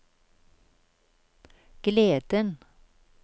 gleden